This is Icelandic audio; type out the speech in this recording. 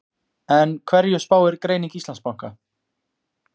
En hverju spáir greining Íslandsbanka?